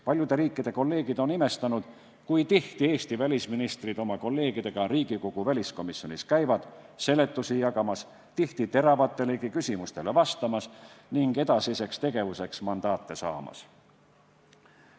Paljude riikide kolleegid on imestanud, kui tihti Eesti välisministrid oma kolleegidega Riigikogu väliskomisjonis käivad seletusi jagamas, tihti teravatelegi küsimustele vastamas ning edasiseks tegevuseks mandaate saamas.